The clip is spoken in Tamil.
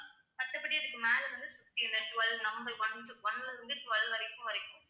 மத்தபடி இதுக்கு மேல வந்து fifty இந்த twelve number one to one ல இருந்து twelve வரைக்கும் வரைக்கும்